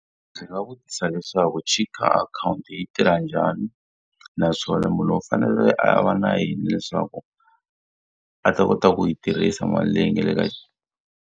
Ndzi nga vutisa leswaku cheke akhawunti yi tirha njhani? Naswona munhu u fanele a va na yini leswaku a ta kota ku yi tirhisa mali leyi nga le ka.